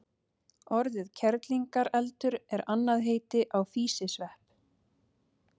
Orðið kerlingareldur er annað heiti á físisvepp.